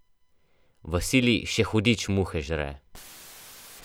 V sili še hudič muhe žre.